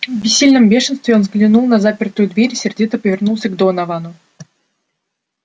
в бессильном бешенстве он взглянул на запертую дверь и сердито повернулся к доновану